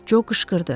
Co qışqırdı.